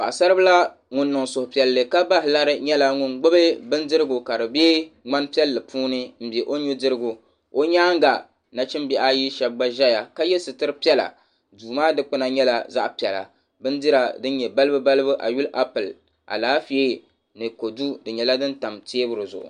Paɣasaribila ŋun niŋ suhupiɛlli ka bahi lari nyɛla ŋun gbubi bindirigu ka di be ŋmani piɛlli puuni m-be o nudirigu o nyaaŋa nachimbihi ayi shɛba gba zaya ka ye sitiri piɛla duu maa dukpuna nyɛla zaɣ'piɛla bindira din nyɛ balibu balibu ayili apuli alaafee ni kodu di nyɛla din tam teebuli zuɣu.